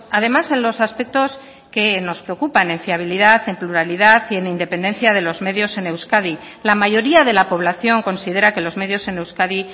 además en los aspectos que nos preocupan en fiabilidad en pluralidad y en independencia de los medios en euskadi la mayoría de la población considera que los medios en euskadi